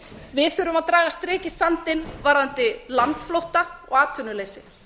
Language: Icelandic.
við þurfum að draga strik í sandinn varðandi landflótta og atvinnuleysi